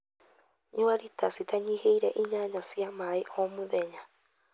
Nyua rita citanyihĩire inyanya cia maĩ o muthenya.